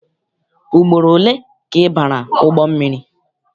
Ugboro ole ka ị bara ụgbọ mmiri?